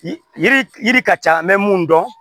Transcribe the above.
Yiri yiri ka ca an bɛ mun dɔn